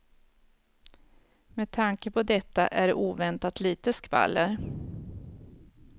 Med tanke på detta är det oväntat lite skvaller.